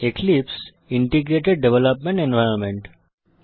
এক্লিপসে একটি integrated development environment